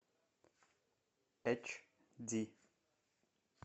эйч ди